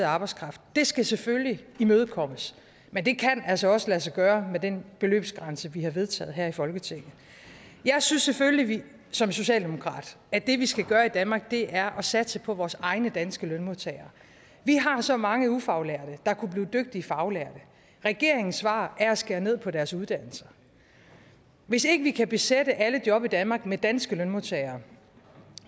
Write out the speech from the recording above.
arbejdskraft skal selvfølgelig imødekommes men det kan altså også lade sig gøre med den beløbsgrænse vi har vedtaget her i folketinget jeg synes selvfølgelig som socialdemokrat at det vi skal gøre i danmark er at satse på vores egne danske lønmodtagere vi har så mange ufaglærte der kunne blive dygtige faglærte regeringens svar er at skære ned på deres uddannelser hvis ikke vi kan besætte alle job i danmark med danske lønmodtagere